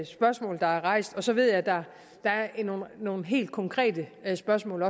spørgsmål der er rejst og så ved jeg der er nogle helt konkrete spørgsmål